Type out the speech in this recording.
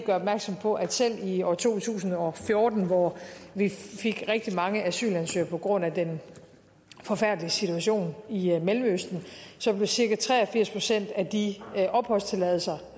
opmærksom på at selv i år to tusind og fjorten hvor vi fik rigtig mange asylansøgere på grund af den forfærdelige situation i mellemøsten blev cirka tre og firs procent af de opholdstilladelser